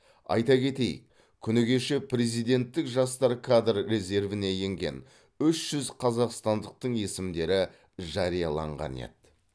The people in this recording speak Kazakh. айта кетейік күні кеше президенттік жастар кадр резервіне енген үш жүз қазақстандықтың есімдері жарияланған еді